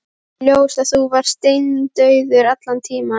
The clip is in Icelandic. Kemur í ljós að þú varst steindauður allan tímann.